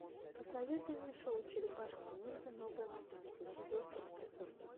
посоветуй мне шоу черепашки ниндзя новая мутация четвертый эпизод